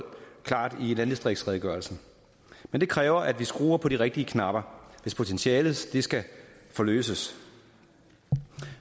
klart i landdistriktsredegørelsen men det kræver at vi skruer på de rigtige knapper hvis potentialet skal skal forløses